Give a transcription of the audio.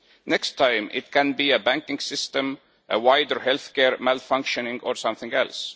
Next time, it could be a banking system, a wider healthcare malfunctioning or something else.